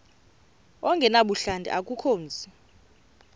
ongenabuhlanti akukho mzi